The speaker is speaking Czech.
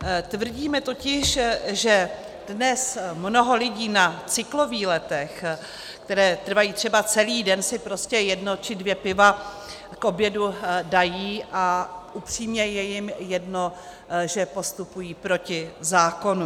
Tvrdíme totiž, že dnes mnoho lidí na cyklovýletech, které trvají třeba celý den, si prostě jedno či dvě piva k obědu dají a upřímně je jim jedno, že postupují proti zákonu.